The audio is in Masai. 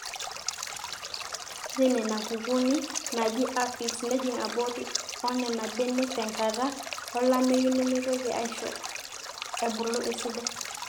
re nena kukuuni naaji aphids nejing aborri oonena benek tenkata olameyunemeitoki aisho ebulu esidai